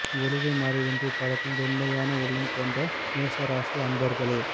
ஒளிவு மறைவின்றி பழகும் வெண்மையான உள்ளம் கொண்ட மேஷ ராசி அன்பாக்ளே